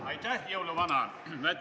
Aitäh, jõuluvana!